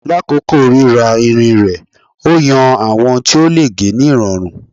Lakoko rira irin rẹ o yan awọn ti o le ge ni irọrun